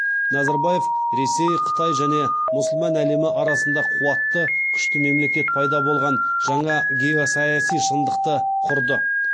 назарбаев ресей қытай және мұсылман әлемі арасында қуатты күшті мемлекет пайда болған жаңа геосаяси шындықты құрды